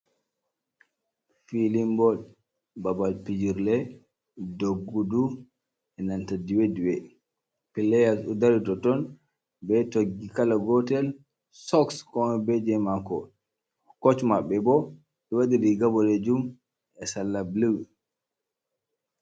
Filin bol babal fijirle duggudu e nanta diwe diwe, playas ɗo dara ha ton ɓe toggi kala gotel, soks on ko moi be je mako, kosh maɓɓe bo ɗo waɗi riga boɗejum e salla blu.